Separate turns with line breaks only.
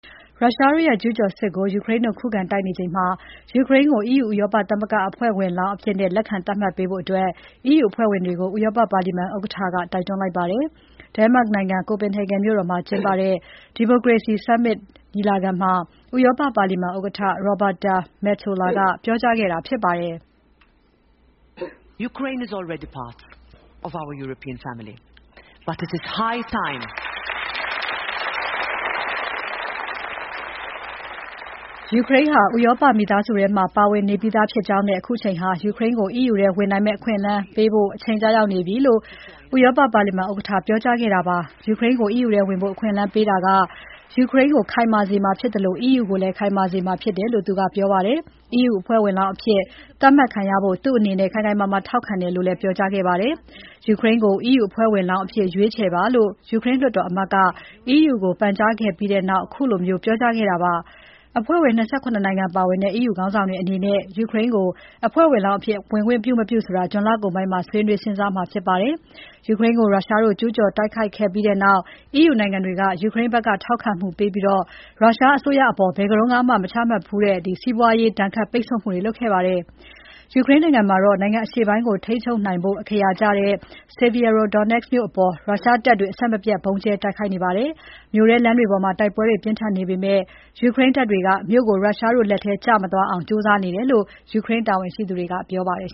ရုရှားတို့ရဲ့ကျူးကျော်စစ်ကို ယူကရိန်းတို့ ခုခံတိုက်နေချိန်မှာ ယူကရိန်းကို EU ဥရောပသမဂ္ဂ အဖွဲ့ဝင်လောင်းအဖြစ် လက်ခံသတ်မှတ်ပေးဖို့ EU အဖွဲ့ဝင်တွေကို ဥရောပပါလီမန် ဥက္ကဋ္ဌက တိုက်တွန်းလိုက်ပါတယ်။ ယူကရိန်းဟာ ဥရောပမိသားစုထဲမှာ ပါဝင်နေပြီးသားဖြစ်ကြောင်းနဲ့ အခုအချိန်ဟာ ယူကရိန်းကို EU ထဲဝင်နိုင်မယ့် အခွင့်အရေးပေးဖို့ အချိန်ကျရောက်နေပြီလို့ ဥရောပပါလီမန် ဥက္ကဋ္ဌ Roberta Metsola က ဒီနေ့ပြောကြားခဲ့တာဖြစ်ပါတယ်။ ယူကရိန်းကို EU ထဲဝင်ဖို့ အခွင့်အလမ်းပေးတာက ယူကရိန်းကို ခိုင်မာစေမှာဖြစ်သလို EU ကိုလည်း ခိုင်မာစေမှာဖြစ်တယ်လို့ ဒိန်းမတ်နိုင်ငံ Copenhagen မြို့တော်မှာ ကျင်းပတဲ့ Democracy Summit မှာ ပြောကြားခဲ့တာဖြစ်ပါတယ်။ EU အဖွဲ့ဝင်လောင်းအဖြစ် သတ်မှတ်ခံရဖို့ သူ့အနေနဲ့ ခိုင်ခိုင်မာမာထောက်ခံတယ်လို့ လည်း ပြောကြားခဲ့ပါတယ်။ ယူကရိန်းကို EU အဖွဲ့ဝင်လောင်းအဖြစ် ရွေးချယ်ပါလို့ ယူကရိန်းလွှတ်တော်အမတ်က EU ကို ပန်ကြားခဲ့ပြီးနောက် သူက ခုလိုပြောကြားခဲ့တာပါ။ အဖွဲ့ဝင် ၂၇ နိုင်ငံပါဝင်တဲ့ EU ခေါင်းဆောင်တွေအနေနဲ့ ယူကရိန်းကို အဖွဲ့ဝင်လောင်းအဖြစ်ဝင်ခွင့် ပြုမပြုဆိုတာကို ဇွန်လကုန်ပိုင်းမှာ ဆွေးနွေး စဉ်းစားမှာဖြစ်ပါတယ်။ ယူကရိန်းကို ရုရှားတို့ ကျုးကျော်တိုက်ခိုက်ခဲ့ပြီးနောက် EU နိုင်ငံတွေက ယူကရိန်းဘက်က ထောက်ခံမှုပေးခဲ့ပြီး ရုရှားအစိုးရအပေါ် ဘယ်တုန်းကမှ မချမှတ်ခဲ့ဘူးတဲ့ စီးပွားရေးဆိုင်ရာ ဒဏ်ခတ် မှုတွေ လုပ်ခဲ့ပါတယ်။ ယူကရိန်းနိုင်ငံမှာတော့ နိုင်ငံအရှေ့ပိုင်းကို ထိန်းချုပ်နိုင်ဖို့ အခရာကျတဲ့ Sievierodonetsk မြို့အပေါ် ရုရှားတပ်တွေ အဆက်မပြတ်ဗုံးကြဲတိုက်ခိုက်နေပါတယ်။ မြို့ထဲလမ်းတွေပေါ်မှာ တိုက်ပွဲတွေပြင်းထန်နေပေမယ့် ယူကရိန်းတပ်တွေက မြို့ကို ရုရှားတို့လက်ထဲ ကျမသွားအောင် ကြိုးစာနေတယ်လို့ ယူကရိန်းတာဝန်ရှိသူတွေက ပြောပါတယ်